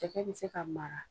Cɛkɛ bɛ se ka mara.